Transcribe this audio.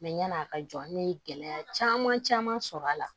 yan'a ka jɔ n ye gɛlɛya caman sɔrɔ a la